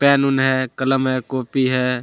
Pen उन है कलम है कॉपी है।